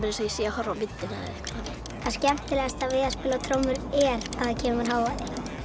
eins og ég sé að horfa á myndina það skemmtilegasta við að spila á trommur er að það kemur hávaði